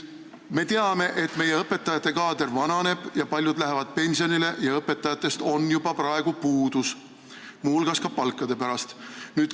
Me teame, et meie õpetajate kaader vananeb, paljud lähevad pensionile ja õpetajatest on juba praegu puudus, muu hulgas ka palkade pärast.